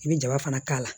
I bɛ jaba fana k'a la